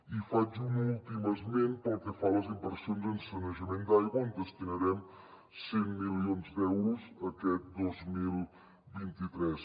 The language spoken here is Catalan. i faig un últim esment pel que fa a les inversions en sanejament d’aigua on destinarem cent milions d’euros aquest dos mil vint tres